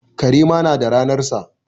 Kare ma na da ranarsa.